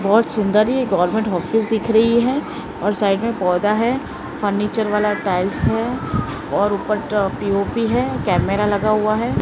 बहोत सुन्दर एक गवर्नमेंट आफिस दिख रही है और साइड में पौधा है फर्नीचर वाला टाइल्स है और ऊपर ट पी_ओ_पी है कैमरा लगा हुआ है।